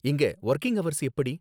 இங்க working hours எப்படி?